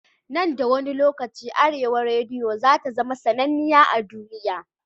Nan da wani lokaci arewa rediyo zata zama sannaniya a duniya